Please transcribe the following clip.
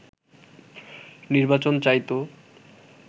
নির্বাচন চাইতো